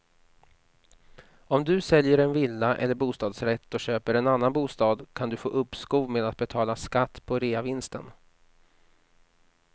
Om du säljer en villa eller bostadsrätt och köper en annan bostad kan du få uppskov med att betala skatt på reavinsten.